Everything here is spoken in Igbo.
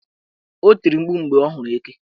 O tiri mkpu mgbe ọ hụrụ eke.